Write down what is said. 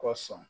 Kɔsɔn